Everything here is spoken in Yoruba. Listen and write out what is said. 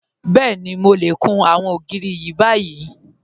Bẹ́ẹ̀ni, Mò lè kùn awọn ogiri ni bàyì.